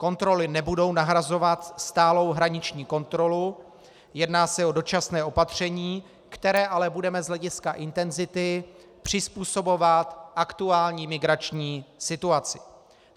Kontroly nebudou nahrazovat stálou hraniční kontrolu, jedná se o dočasné opatření, které ale budeme z hlediska intenzity přizpůsobovat aktuální migrační situaci.